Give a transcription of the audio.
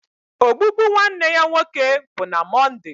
Ogbugbu nwanne ya nwoke bụ na Mọnde